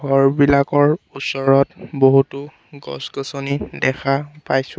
ঘৰবিলাকৰ ওচৰত বহুতো গছ গছনি দেখা পাইছোঁ।